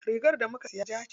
Rigar da muka siya ja ce.